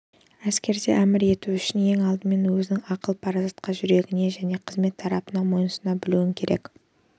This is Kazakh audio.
әскерде әмір ету үшін ең алдымен өзің ақыл парасатқа жүгіне және қызмет талаптарына мойынсұна білуің керек